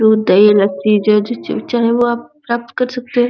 दूध दही लस्सी जो चाहे आप प्राप्त कर सकते।